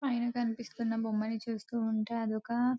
పైన కనిపిస్తున్న బొమ్మను చూస్తుంటే అదొక --